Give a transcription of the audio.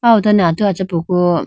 aw ho done atu achapuku.